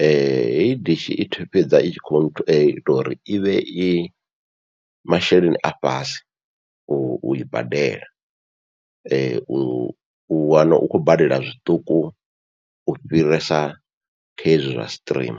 hei dishi i thu fhedza i tshi kho ita uri ivhe i masheleni a fhasi ui badela, u wane u khou badela zwiṱuku u fhirisa kha hezwi zwa stream.